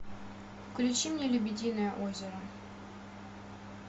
включи мне лебединое озеро